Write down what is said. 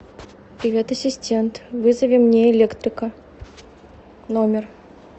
привет ассистент вызови мне электрика в номер